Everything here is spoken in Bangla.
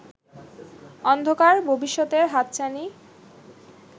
অন্ধকার ভবিষ্যতের হাতছানি